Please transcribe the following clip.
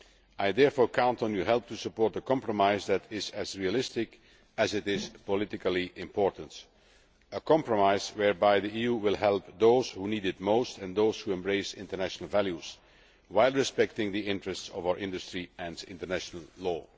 I therefore count on your help to support a compromise that is as realistic as it is politically important a compromise whereby the EU will help those who need it most and those who embrace international values while respecting the interests of our industry and international law.